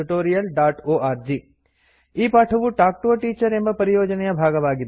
contactspoken tutorialorg ಈ ಪಾಠವು talk to a teacher ಎಂಬ ಪರಿಯೋಜನೆಯ ಭಾಗವಾಗಿದೆ